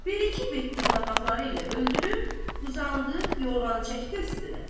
Bir-iki bit dırnaqları ilə öldürüb uzandı, yorğanı çəkdi üstünə.